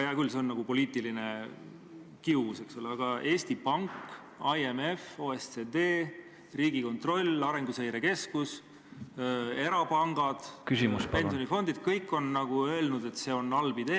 Hea küll, see on nagu poliitiline kius, eks ole, aga Eesti Pank, IMF, OECD, Riigikontroll, Arenguseire Keskus, erapangad, pensionifondid – kõik on öelnud, et see on halb idee.